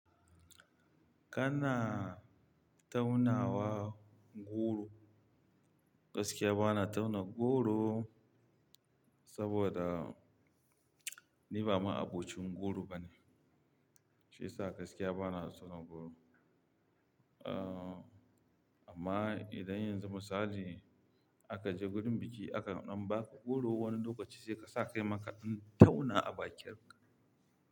Kana taunawa goro. Gaskiya bana tauna goro saboda ni ba maabocin goro bane. Shi yasa gaskiya bana son goro. Amma idan yanzu misali, aka je gurin biki aka nuna maka goro wani lokaci sai ka sa kai ma kaima ka dan tauna a bakin ka.